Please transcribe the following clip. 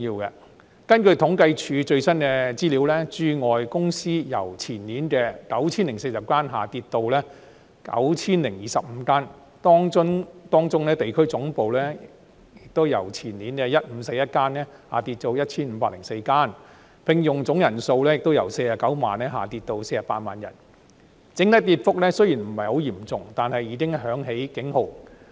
根據政府統計處的最新資料，駐外公司由前年的 9,040 間下跌至 9,025 間，當中地區總部由前年的 1,541 間下跌至 1,504 間，聘用總人數亦由49萬人下跌至48萬人；雖然整體跌幅不算嚴重，但已響起警號。